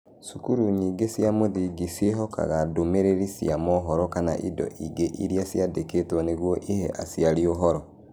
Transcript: Cukuru nyingĩ cia mũthingi ciĩhokaga ndũmĩrĩri cia mohoro kana indo ingĩ iria ciandĩkĩtwo nĩguo ihe aciari ũhoro.